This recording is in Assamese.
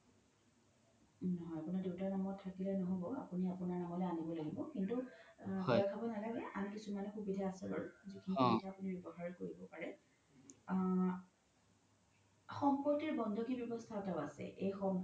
নহয় আপোনাৰ দেউতাৰ নামত থাকিলে ন্হ'ব আপোনি আপোনাৰ নামলে আনিব লাগিব কিন্তু ভই খাব নালাগে আন কিছুমান সুবিধা আছে বাৰু যিখিনি কৰিলে আপোনি recover কৰিব পাৰে আ সম্পত্তি বন্ধকি ৱ্যাবস্থা এটাও আছে